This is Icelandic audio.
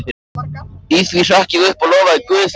Í því hrökk ég upp og lofaði guð fyrir lausnina.